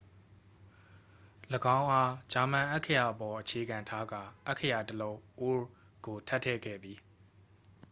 "၎င်းအား ဂျာမန် အက္ခရာအပေါ် အခြေခံထားကာ အက္ခရာ တစ် လုံး "õ/õ" ကို ထပ်ထည့်ခဲ့သည်။